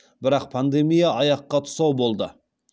бірақ пандемия аяққа тұсау болды